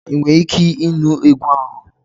Ị nwere ike ịnụ egwu ahụ?